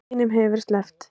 Hinum hefur verið sleppt